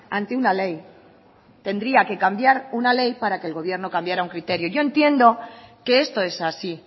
ante una ley tendría que cambiar una ley para que el gobierno cambiará un criterio yo entiendo que esto es así